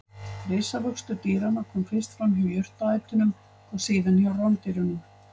Risavöxtur dýranna kom fyrst fram hjá jurtaætunum og síðan hjá rándýrunum.